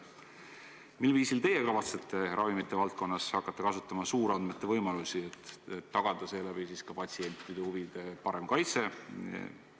Mil viisil teie kavatsete ravimite valdkonnas hakata kasutama suurandmete võimalusi, et tagada seeläbi ka patsientide huvide parem kaitse?